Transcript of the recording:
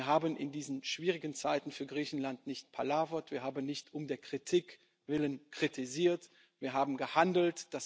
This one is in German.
Wir haben in diesen schwierigen Zeiten für Griechenland nicht palavert, wir haben nicht um der Kritik willen kritisiert, wir haben gehandelt.